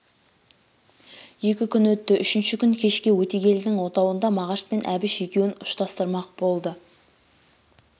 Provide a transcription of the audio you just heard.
екі күн өтті үшінші күн кешке өтегелдінің отауында мағаш пен әбіш екеуін ұшырастырмақ болды